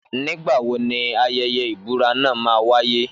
Nígbàwo ní ayẹyẹ ìbúra náà ma wáyé